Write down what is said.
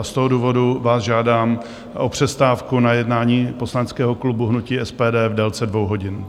A z toho důvodu vás žádám o přestávku na jednání poslaneckého klubu hnutí SPD v délce 2 hodin.